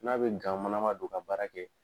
N'a bɛ gan manama don ka baara kɛ.